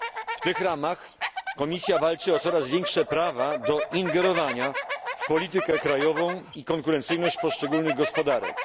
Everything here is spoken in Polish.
W tych ramach Komisja walczy o coraz większe prawa do ingerowania w politykę krajową i konkurencyjność poszczególnych gospodarek.